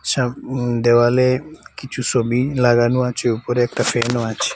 ছব দেয়ালে কিসু সবি লাগানো আছে উপরে একটা ফ্যানও আছে।